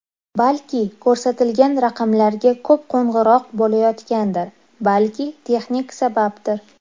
Balki ko‘rsatilgan raqamlarga ko‘p qo‘ng‘iroq bo‘layotgandir, balki texnik sababdir.